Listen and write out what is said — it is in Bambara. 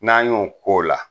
N'an y'o k'o la